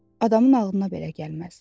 Adamın ağlına belə gəlməz.